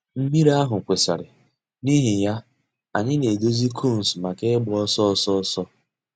Mmírí àhụ̀ kwụsìrì, n'ìhì yà, ànyị̀ nà-èdòzì cones mǎká ị̀gba òsọ̀ òsọ̀ òsọ̀.